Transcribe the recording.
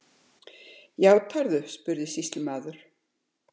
Játarðu, spurði sýslumaður.